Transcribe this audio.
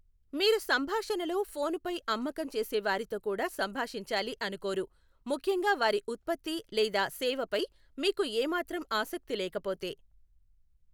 మీరు సంభాషణలో ఫోను పై అమ్మకం చేసే వారితో కూడా సంభాషించాలి అనుకోరు, ముఖ్యంగా వారి ఉత్పత్తి లేదా సేవపై మీకు ఏమాత్రం ఆసక్తి లేకపోతే.